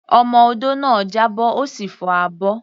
Ọmọ odó náà já bọ́, ó sì fọ́ abọ́.